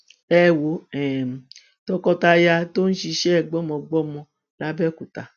ẹ wo um tọkọtaya tó ń ṣiṣẹ gbọmọgbọmọ làbẹòkúta